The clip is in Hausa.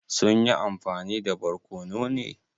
Sun yi amfani da barkono ne?